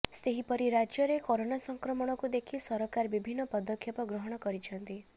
ସେହିପରି ରାଜ୍ୟରେ କରୋନା ସଂକ୍ରମଣକୁ ଦେଖି ସରକାର ବିଭିନ୍ନ ପଦକ୍ଷେପ ଗ୍ରହଣ କରିଛନ୍ତି